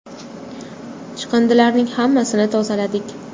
Chiqindilarning hammasini tozaladik.